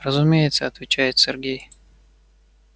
разумеется отвечает сергей